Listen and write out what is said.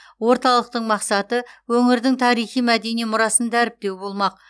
орталықтың мақсаты өңірдің тарихи мәдени мұрасын дәріптеу болмақ